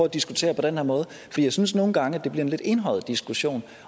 at diskutere på den her måde for jeg synes nogle gange at det bliver en lidt enøjet diskussion